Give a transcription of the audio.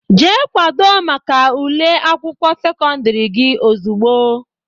Jee kwado maka ule akwụkwọ sekọndiri gị ozugbo!